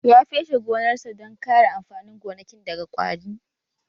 Ya feshe gonarsa don kare amfanin gonakin daga ƙwari?